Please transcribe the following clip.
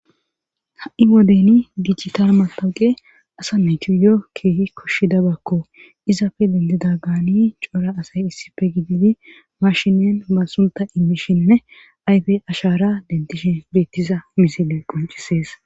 ha7i wodeni dijital matawuqe asa netu yo keehi koshshidabakko izafe dentida gaani cora asay issife gididi mashinen masunta immishinne ayfe ashara dentishi beettiza misile qoncisees